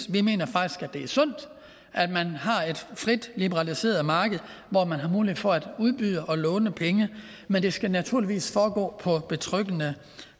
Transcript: vi mener faktisk at det er sundt at man har et frit liberaliseret marked hvor man har mulighed for at udbyde og låne penge men det skal naturligvis foregå på betryggende